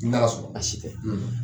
N'a sɔrɔ nasi tɛ.